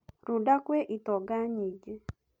Runda kwĩ itonga nyingĩ.